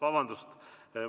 Vabandust!